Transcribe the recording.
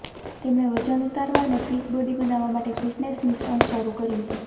તેમણે વજન ઉતારવા અને ફીટ બોડી બનાવવા માટે ફિટનેસ મિશન શરુ કર્યું